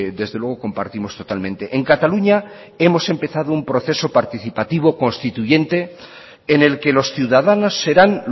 desde luego compartimos totalmente en cataluña hemos empezado un proceso participativo constituyente en el que los ciudadanos serán